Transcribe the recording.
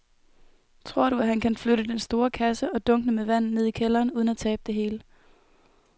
Tror du, at han kan flytte den store kasse og dunkene med vand ned i kælderen uden at tabe det hele?